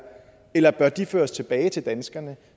eller bør de føres tilbage til danskerne